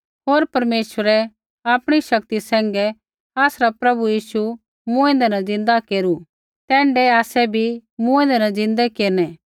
होर परमेश्वरै आपणी शक्ति सैंघै आसरा प्रभु यीशु मूँऐंदै न ज़िन्दा केरू तैण्ढै आसै भी मूँऐंदै न ज़िन्दै केरनै